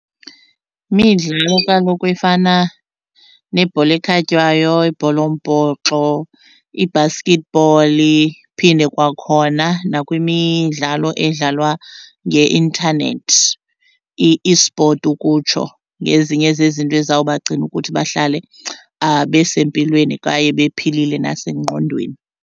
kaloku efana nebhola ekhatywayo ibhola, yombhoxo, i-basketball, iphinde kwakhona nakwimidlalo edlalwa ngeintanethi i-esport ukutsho ngezinye zezinto ezawubagcina ukuthi bahlale besempilweni kwaye bephilile nasengqondweni.